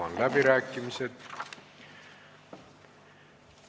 Avan läbirääkimised.